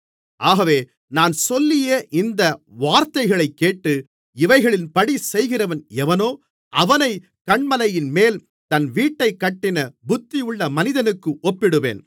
ஆகவே நான் சொல்லிய இந்த வார்த்தைகளைக்கேட்டு இவைகளின்படி செய்கிறவன் எவனோ அவனைக் கன்மலையின்மேல் தன் வீட்டைக் கட்டின புத்தியுள்ள மனிதனுக்கு ஒப்பிடுவேன்